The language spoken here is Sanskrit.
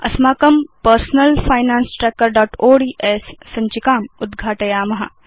अस्माकं पर्सनल फाइनान्स trackerओड्स् सञ्चिकाम् उद्घाटयाम